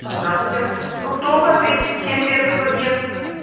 здравствуйте фруктовая тридцать семь первый подъезд